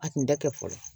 A kun da kɛ fɔlɔ